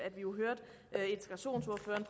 jo